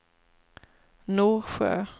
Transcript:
Norsjö